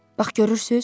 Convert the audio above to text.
Bax görürsüz?